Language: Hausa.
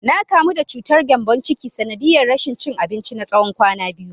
Na kamu da cutar gembon ciki, sanadiyar rashin cin abinci na tsawon kwana biyu.